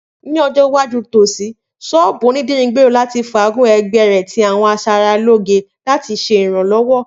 Ni ọjọ iwaju nitosi, sọ́ọ́bú onidiri ngbero lati faagun ẹgbẹ rẹ ti awọn aṣaralóge lati ṣe iranlọwọ.